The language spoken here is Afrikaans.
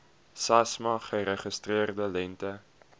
samsa geregistreerde lengte